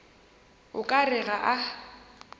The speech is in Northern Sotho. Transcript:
o ka re ga a